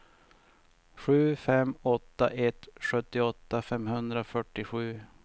sju fem åtta ett sjuttioåtta femhundrafyrtiosju